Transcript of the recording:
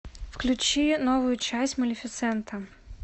включи новую часть малефисента